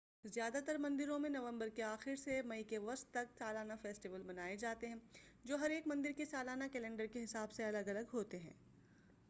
زیادہ تر مندروں میں نومبر کے آخر سے مئی کے وسط تک سالانہ فیسٹول منائے جاتے ہیں جو ہر ایک مندر کے سالانہ کیلنڈر کے حساب سے الگ الگ ہوتے ہیں